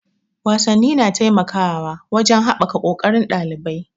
Wasanni na taimakawa wajen haɓaka ƙoƙarin ɗalibai.